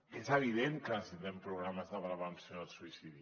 que és evident que necessitem programes de prevenció del suïcidi